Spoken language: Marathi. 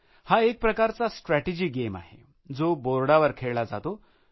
हा एकप्रकारचा स्ट्रेटेजी गेम आहे जो बोर्डवर खेळला जातो